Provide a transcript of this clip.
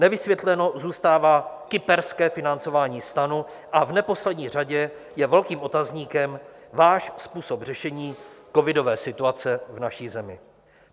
Nevysvětleno zůstává kyperské financování STANu a v neposlední řadě je velkým otazníkem váš způsob řešení covidové situace v naší zemi.